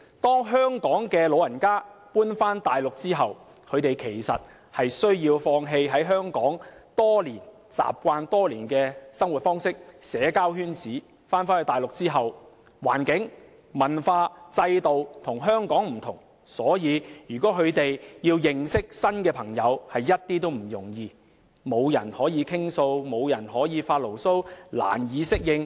當香港長者遷往大陸後，他們需要放棄在香港建立多年的生活方式及社交圈子；到了大陸後，不論是環境、文化或制度，均與香港不同，要認識新朋友一點也不容易，沒有人可以傾訴或發牢騷，令他們難以適應。